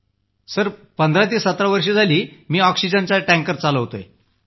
sir 15 ते 17 वर्ष झाली मी ऑक्सिजनचा टँकर चालवतोय